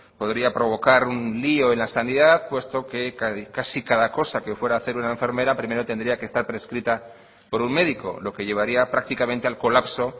podría provocar un lío en la sanidad puesto que casi cada cosa que fuera a hacer una enfermera primero tendría que estar prescrita por un médico lo que llevaría prácticamente al colapso